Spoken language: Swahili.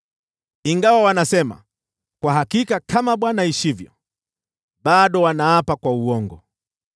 Ingawa wanasema, ‘Kwa hakika kama Bwana aishivyo,’ bado wanaapa kwa uongo.”